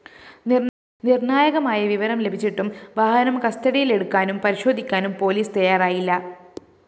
നിര്‍ണ്ണായകമായ വിവരം ലഭിച്ചിട്ടും വാഹനം കസ്റ്റഡിയിലെടുക്കാനും പരിശോധിക്കാനും പോലീസ് തയ്യാറായില്ല